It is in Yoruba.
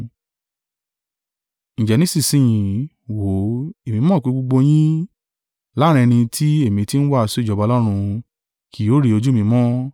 “Ǹjẹ́ nísinsin yìí, wò ó, èmi mọ̀ pé gbogbo yín, láàrín ẹni tí èmi tí ń wàásù ìjọba Ọlọ́run, kì yóò rí ojú mi mọ́.